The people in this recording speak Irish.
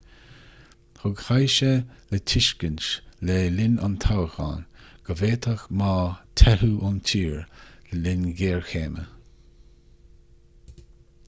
thug hsieh le tuiscint le linn an toghcháin go bhféadfadh ma teitheadh ​​ón tír le linn géarchéime